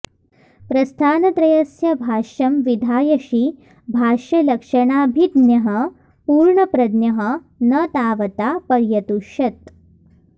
प्रस्थानत्रयस्य भाष्यं विधायषि भाष्यलक्षणाभिज्ञः पूर्णप्रज्ञः न तावता पर्यतुष्यत्